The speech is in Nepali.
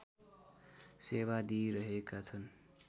सेवा दिइरहेका छन्